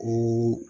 O